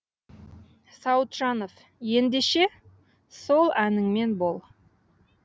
сауытжанов ендеше сол әніңмен бол